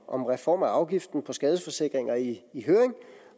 om reform af afgiften på skadesforsikringer i høring